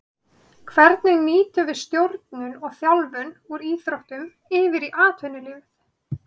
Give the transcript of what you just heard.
Hvernig nýtum við stjórnun og þjálfun úr íþróttum yfir í atvinnulífið.